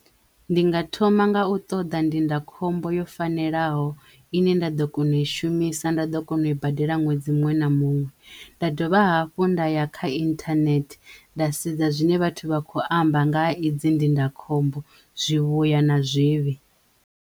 Ndi nga thoma nga u ṱoḓa ndindakhombo yo fanelaho i ne nda ḓo kona u i shumisa nda ḓo kona u i badela ṅwedzi muṅwe na muṅwe nda dovha hafhu nda ya kha internet nda sedza zwine vhathu vha khou amba nga ha idzi ndindakhombo zwivhuya na zwivhi.